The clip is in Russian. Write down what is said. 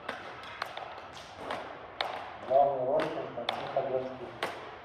в главной роли константин хабенский